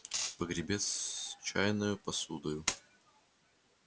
погребец с чайною посудою на два рубля с полтиною